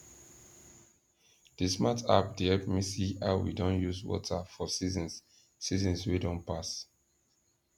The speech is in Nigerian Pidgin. the smart app dey help me see how we don use water for seasons seasons wey don pass